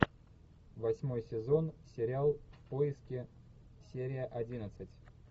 восьмой сезон сериал в поиске серия одиннадцать